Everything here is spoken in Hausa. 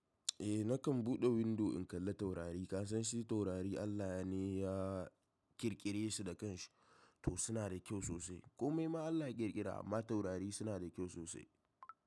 Eh nakan buɗe windo in kalla taurari. Kasan shi taurari Allah ne ya, ƙirƙire su da kanshi, to suna da kyau sosai. Komai ma Allah ya ƙirƙira, amma taurari suna da kyau sosai.